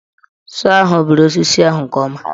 Sọọ ahụ bere osisi ahụ nke ọma.